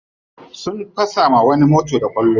Sun fasa wa wani mota da kwallo.